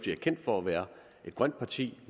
er kendt for at være et grønt parti